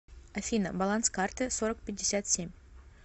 афина баланс карты сорок пятьдесят семь